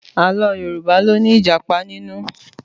Àlọ́ Yorùbá ló ní Ìjàpá nínú